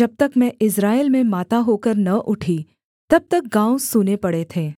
जब तक मैं इस्राएल में माता होकर न उठी तब तक गाँव सूने पड़े थे